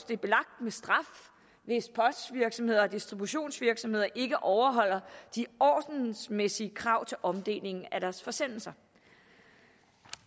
det belagt med straf hvis postvirksomheder og distributionsvirksomheder ikke overholder de ordensmæssige krav til omdeling af deres forsendelser